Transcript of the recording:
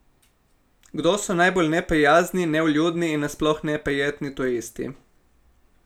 Kdo so najbolj neprijazni, nevljudni in na sploh neprijetni turisti?